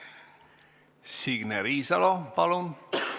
Signe Riisalo, palun!